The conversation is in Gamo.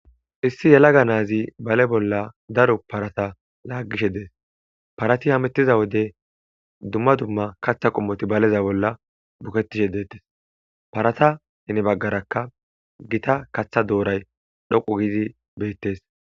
Issi yalaga naazi bale bolla daro parata laagishe dees parati hamettiza wode dumma dumma kaththa qommoti baleza bolla bukettishe deettes parata hinibaggarakka gita katha dooray dhoqu gidi beettes